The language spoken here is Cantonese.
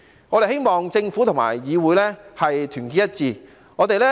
我們希望政府和議會團結一致。